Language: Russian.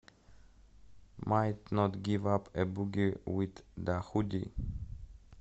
майт нот гив ап а буги вит да худи